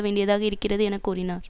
வேண்டியதாக இருக்கிறது என கூறினர்